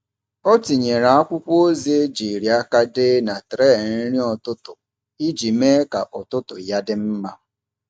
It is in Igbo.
Ọ tinyere akwụkwọ ozi ejiri aka dee na tray nri ụtụtụ iji mee ka ụtụtụ ya dị mma.